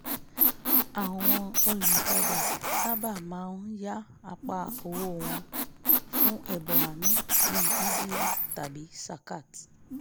àwọn olùtajà sábà máa ń yàn apá owó wọ́n fún ẹ̀bọ àánú bíi ìjìyà tàbí zakat